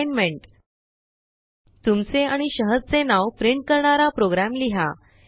assignment तुमचे आणि शहराचे नाव प्रिंट करणारा प्रोग्रॅम लिहा